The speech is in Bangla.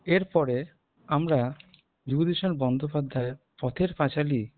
এরপরে আমরা বিভূতিভূষণ বন্দ্যোপাধ্যায়ের পথের পাঁচালি